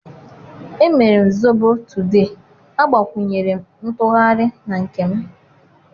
emere m zobo today, agbakwunyere m ntughari na nke m.